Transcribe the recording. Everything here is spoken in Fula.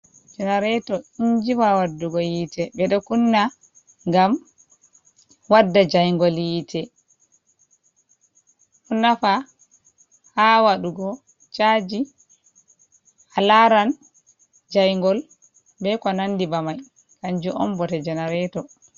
jenarato injiwa waddugo yite ɓe ɗo kunna gam wadda jaingol yiite kunnafa ha waɗugo chaji a laran jaingol be ko nandi bamai kanju on bote jenarato.